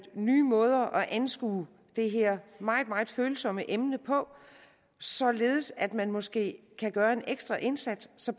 nye måder at anskue det her meget meget følsomme emne på således at man måske kan gøre en ekstra indsats så